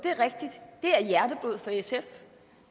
er er hjerteblod for sf